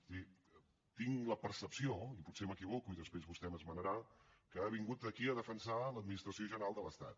és a dir tinc la percepció i potser m’equivoco i després vostè m’esmenarà que ha vingut aquí a defensar l’administració general de l’estat